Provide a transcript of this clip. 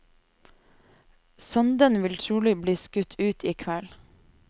Sonden vil trolig bli skutt ut i kveld.